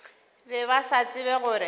be ba sa tsebe gore